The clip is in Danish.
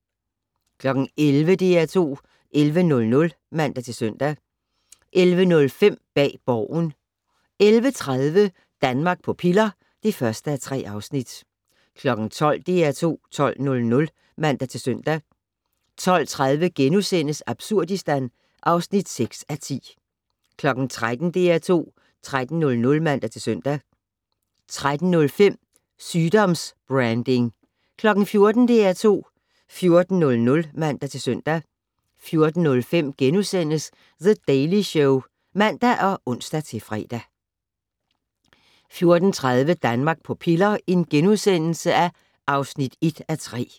11:00: DR2 11:00 (man-søn) 11:05: Bag Borgen 11:30: Danmark på piller (1:3) 12:00: DR2 12:00 (man-søn) 12:30: Absurdistan (6:10)* 13:00: DR2 13:00 (man-søn) 13:05: Sygdoms-branding 14:00: DR2 14:00 (man-søn) 14:05: The Daily Show *(man og ons-fre) 14:30: Danmark på piller (1:3)*